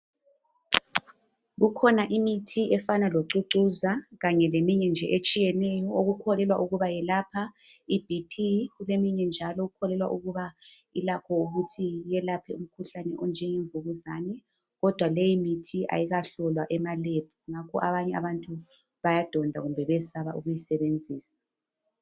Kukhona imithi efana locucuza kanye leminye nje etshiyeneyo okukholelwa ukuba yelapha iBp kuleminye njalo okukholelwa ukuba ilakho ukuthi yelapha umkhuhlane onjenge mvukuzane kodwa leyi mithi ayikahlolwa emaLab ngakho abanye abantu bayadonda kumbe bayesaba ukuyisebenzisa